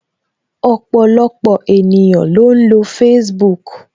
Ọpọlọpọ ènìyàn ló ń lo Facebook